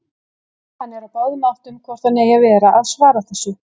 Hann er á báðum áttum hvort hann eigi að vera að svara þessu.